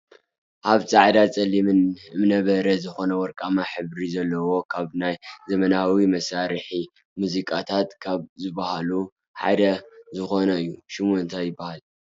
ኣብ ፃዕዳን ፀሊምን እምነ በረድ ዝኮነ ወርቃማ ሕብሪ ዘለዎን ካብ ናይ ዘመናዊ መሳርሒ ሙዚቃታት ካብ ዝብሃሉ ሓደ ዝኮነ እዩ። ሽሙ እንታይ ይብሃል?